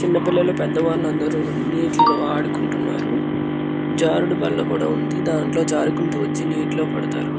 చిన్నపిల్లలుపెద్దవాళ్ళు అందరు నీటిలో ఆడుకుంటున్నారు. జారుడు బల్ల కూడా ఉంది. దాంట్లో జారుకుంటూ వచ్చి వచ్చి నీటిలో పడతారు.